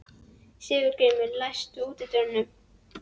Sigurgrímur, læstu útidyrunum.